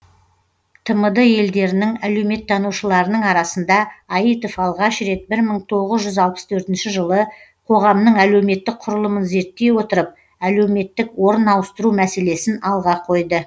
тмд елдерінің әлеуметтанушыларының арасында аитов алғаш рет бір мың тоғыз жүз алпыс төртінші жылы қоғамның әлеуметтік құрылымын зерттей отырып әлеуметтік орын ауыстыру мәселесін алға қойды